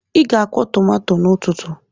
Ị ga-akwụ tomato n'ụtụtụ!